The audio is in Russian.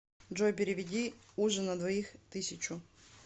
джой переведи ужин на двоих тысячу